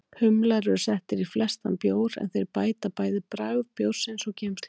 Humlar eru settir í flestan bjór, en þeir bæta bæði bragð bjórsins og geymsluþol.